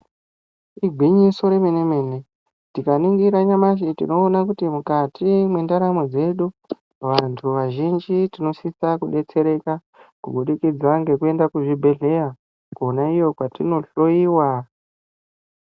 Igwinyiso rememene, tikaningira nyamashi tinoone kuti mukati mwendaramo dzedu vantu vazhinji tinosisa kudetsereka kubudikidza ngekuende kuzvibhedhlera kwona iyo kwetinohloiwa.